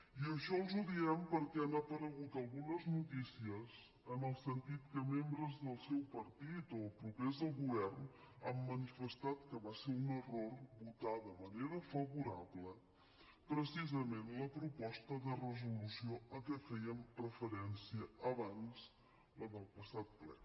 i això els ho diem perquè han aparegut algunes notícies en el sentit que membres del seu partit o propers al govern han manifestat que va ser un error votar de manera favorable precisament la proposta de resolució a què fèiem referència abans la del passat ple